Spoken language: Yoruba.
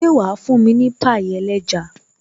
Ṣé wà fún mi ní pie ẹlẹ́ja